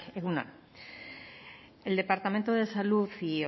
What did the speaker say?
egun on el departamento de salud y